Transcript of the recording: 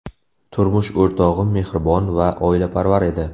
Turmush o‘rtog‘im mehribon va oilaparvar edi.